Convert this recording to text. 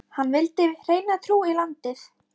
Hann vildi hreina trú í landið.